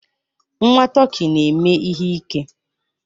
Nwa tọkị na-eme ihe ike.